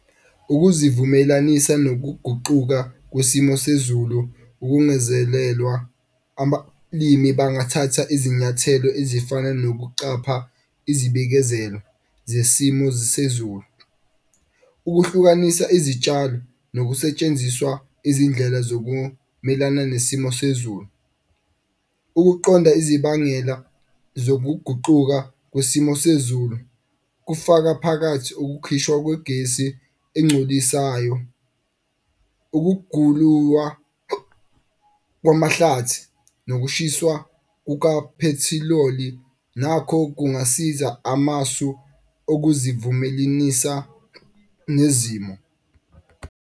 Ukuzivumelanisa nokuguquka kwesimo sezulu ukungezelelwa bangathatha izinyathelo ezifana nokuqapha izibikezelo zesimo sezulu. Ukuhlukanisa izitshalo nokusetshenziswa izindlela zokumelana nesimo sezulu. Ukuqonda ezibangela zokuguquka kwesimo sezulu kufaka phakathi ukukhishwa kwegesi encolisayo, kwamahlathi nokushiswa kuka phethiloli nakho kungasiza amasu okuzivumelinisa nezimo.